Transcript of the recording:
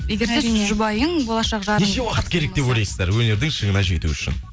егер сіз жұбайың болашақ жарың неше уақыт керек деп ойлайсыздар өнердің шыңына жету үшін